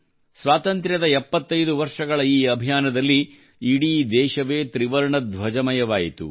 ಸ್ವಾತಂತ್ರ್ಯದ 75 ವರ್ಷಗಳ ಈ ಅಭಿಯಾನದಲ್ಲಿ ಇಡೀ ದೇಶವೇ ತ್ರಿವರ್ಣ ಧ್ವಜಮಯವಾಯಿತು